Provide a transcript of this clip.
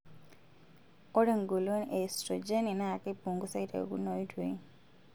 Ore engolon e estrojeni naa keipungusai tekuna oitoi.